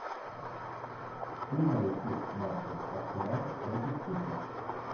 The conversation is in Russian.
прямой эфир матча арсенал против сити